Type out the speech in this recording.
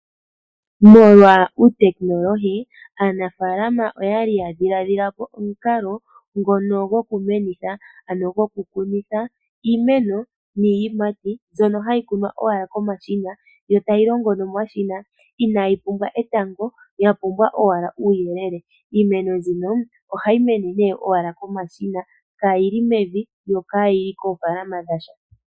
Molwa uutekinolohi aanafaalama oyali ya dhiladhilapo omukalo ngono gokumenitha ano gokukunitha iimeno niiyimati mbyono hayi kunwa owala komashina yo tayi longo nomashina inaayi pumbwa etango yapumbwa owala uuyelele. Iimeno mbino ohayi mene nee owala momashina kaayili mevi yo kaayili koofaaalama dha sha.